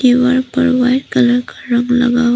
दीवार पर white colour का रंग लगा हु--